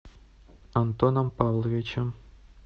антоном павловичем